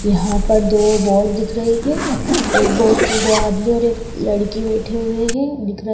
यहां पर दो बोट दिख रही है एक बोट पे दो आदमी और एक लड़की बैठे हुए हैं दिख --